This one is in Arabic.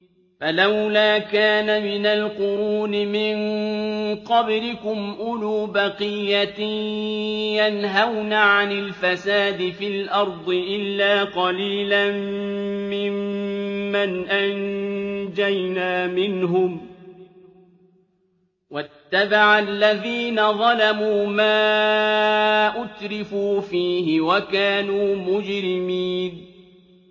فَلَوْلَا كَانَ مِنَ الْقُرُونِ مِن قَبْلِكُمْ أُولُو بَقِيَّةٍ يَنْهَوْنَ عَنِ الْفَسَادِ فِي الْأَرْضِ إِلَّا قَلِيلًا مِّمَّنْ أَنجَيْنَا مِنْهُمْ ۗ وَاتَّبَعَ الَّذِينَ ظَلَمُوا مَا أُتْرِفُوا فِيهِ وَكَانُوا مُجْرِمِينَ